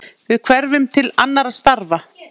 Við hverfum til annarra starfa.